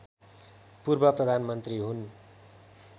पूर्व प्रधानमन्त्री हुन्